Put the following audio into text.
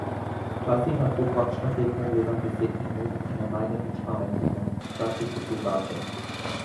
Včasih lahko kakšno tekmo gledam deset minut in ne najdem nič pametnega, včasih je drugače.